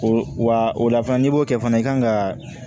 O wa o la fana n'i b'o kɛ fana i kan ka